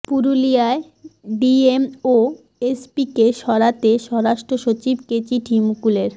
পুরুলিয়ার ডিএম ও এসপিকে সরাতে স্বরাষ্ট্র সচিবকে চিঠি মুকুলের